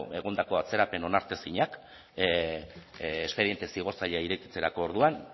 egondako atzerapen onartezinak espediente zigortzaile irekitzerako orduan